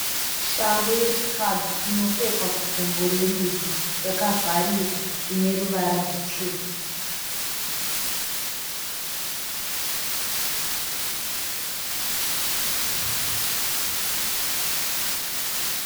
Shangu yechikadzi inopfekwa kugumbo rerudyi yakavharika ine ruvara rutsvuku.